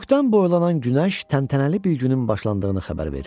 Üfüqdən boylanan günəş təntənəli bir günün başlandığını xəbər verirdi.